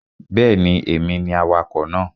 Bẹ́ẹ̀ni, èmi ni awakọ̀ náà